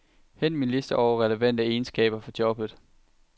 Hent min liste over relevante egenskaber for jobbet.